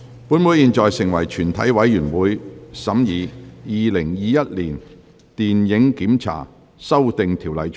本會現在成為全體委員會，審議《2021年電影檢查條例草案》。